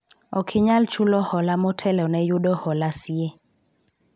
ok inyal chulo hola motelo ne yudo hola siye